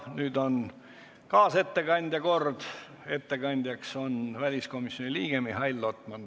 Nüüd on kaasettekandja kord, ettekandjaks on väliskomisjoni liige Mihhail Lotman.